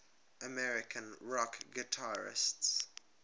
american rock guitarists